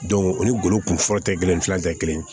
o ni golo kun fɔlɔ tɛ kelen tɛ kelen ye